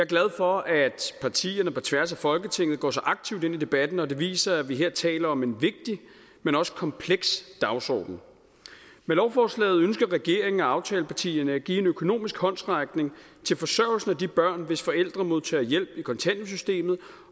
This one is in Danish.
glad for at partierne på tværs af folketinget går så aktivt ind i debatten og det viser at vi her taler om en vigtig men også kompleks dagsorden med lovforslaget ønsker regeringen og aftalepartierne at give en økonomisk håndsrækning til forsørgelsen af de børn hvis forældre modtager hjælp i kontanthjælpssystemet